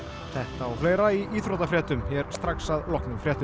þetta og fleira í íþróttafréttum hér strax að loknum fréttum